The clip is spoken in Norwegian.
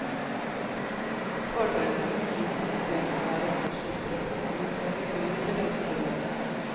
Fordelen ved det nye system er at man slipper å punge ut med gebyrer til reisebyråene.